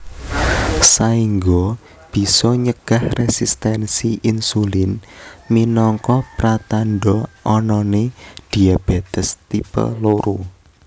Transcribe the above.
Saengga bisa nyegah resistensi insulin minangka pratandha anane diabetes tipe loro